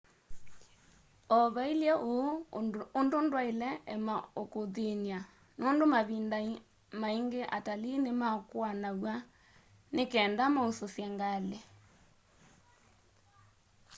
o va ilye uu undu ndwaile ema ukuthiny'a nundu mavinda maingi atalii nimakuanaw'a nikenda maususye ngali